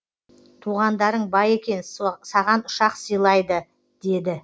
туғандарың бай екен саған ұшақ сыйлайды деді